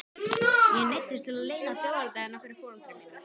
Ég neyddist til að leyna þjóðerni hennar fyrir foreldrum mínum.